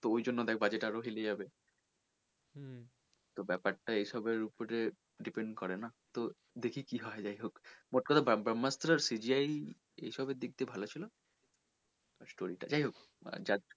তো ওই জন্য দেখ budget আরও হিলে যাবে তো ব্যাপার টা এইসবের ওপরে depend করে না দেখি কি হয় যাই হোক মোট কথা ব্রহ্মাস্ত্র CGI এইসবের দিক দিয়ে ভালো ছিল আর story টা,